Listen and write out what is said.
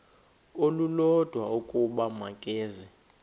olulodwa ukuba makeze